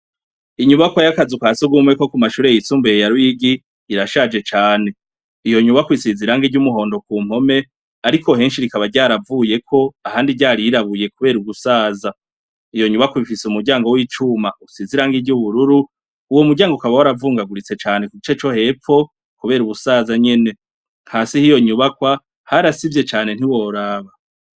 inyubakwa yakazu kasugumwe ko ku mashuri y'isumbuye ya ruyigi irashaje cane iyo nyubakwa isize iranga ry'umuhondo ku mpome ariko henshi rikaba ryaravuyeko ahandi ryarirabuye kubera ugusaza nyene iyo nyubakwa ifise umuryango w'icuma usize irangi ry’ubururu uwo muryango ukaba waravungaguritse cane ku bice vyo hepfo kubera ubusaza nyene nka si hiyo nyubakwa harasivye cane ntiworaba